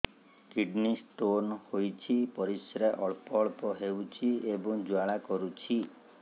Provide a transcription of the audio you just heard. kidney stone ହୋଇଛି ପରିସ୍ରା ଅଳ୍ପ ଅଳ୍ପ ହେଉଛି ଏବଂ ଜ୍ୱାଳା କରୁଛି